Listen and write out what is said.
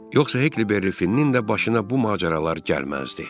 Yoxsa Hekli berifin də başına bu macəralar gəlməzdi.